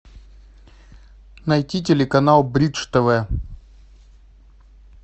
найти телеканал бридж тв